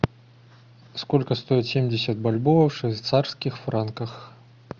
сколько стоит семьдесят бальбоа в швейцарских франках